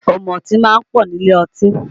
Ọ̀mùtí máa ń pọ̀ nílé ọtí